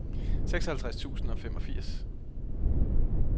seksoghalvtreds tusind og femogfirs